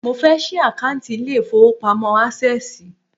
Mo fẹ́ ṣí àkántì ilé ìfọwọ́pamo Access.